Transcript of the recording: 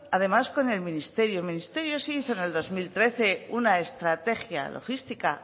además con el ministerio el ministerio sí hizo en el dos mil trece una estrategia logística